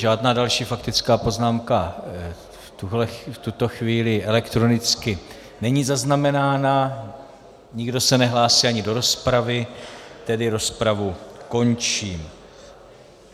Žádná další faktická poznámka v tuto chvíli elektronicky není zaznamenána, nikdo se nehlásí ani do rozpravy, tedy rozpravu končím.